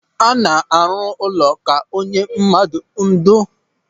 A na-arụ ụlọ ka onye mmadụ ńdò.